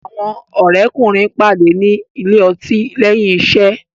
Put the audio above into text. Àwọn òré kùnrin pàdé ní Ilé-ọtí léyìn iṣé.